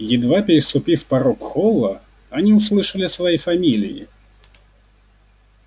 едва переступив порог холла они услышали свои фамилии